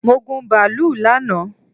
Mo gun bàálù lánàá